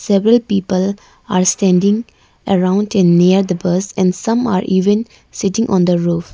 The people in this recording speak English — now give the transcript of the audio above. several people are standing around and near the bus and some are even sitting on the roof.